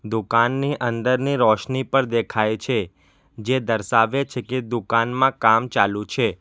દુકાનની અંદરની રોશની પર દેખાય છે જે દર્શાવે છે કે દુકાનમાં કામ ચાલુ છે.